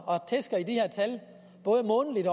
og tæsker i de her tal både månedligt